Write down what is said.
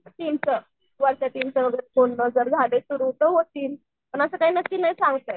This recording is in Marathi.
टीमचं वरच्या टीमचं बोलणं जर झालं तर झाले सुरु तर होतील पण असं काय नक्की नाही सांगता येत.